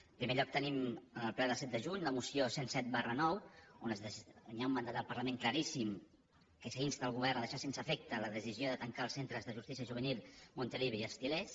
en primer lloc tenim en el ple del set de juny la moció cent i set ix on hi ha un mandat del parlament claríssim que s’insta el govern a deixar sense efecte la decisió de tancar els centres de justícia juvenil montilivi i els til·lers